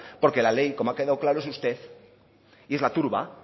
porque la ley como ha quedado claro es usted y es la turba